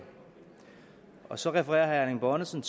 og så refererer herre erling bonnesen